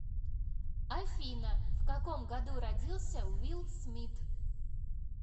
афина в каком году родился уилл смит